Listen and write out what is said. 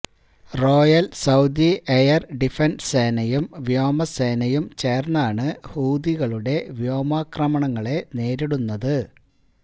Royal Saudi Air Defence സേനയും വ്യോമസേനയും ചേര്ന്നാണ് ഹൂഥികളുടെ വ്യോമാക്രമണങ്ങളെ നേരിടുന്നത്